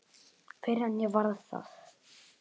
Fyrr en ég varð það.